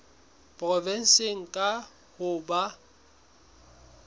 provenseng kang ho tla ba